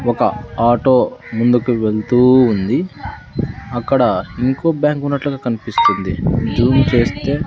ఒక ఆటో ముందుకు వెళుతూ ఉంది అక్కడ ఇంకో బ్యాంకు ఉన్నట్లుగా కనిపిస్తుంది జూమ్ చేస్తే.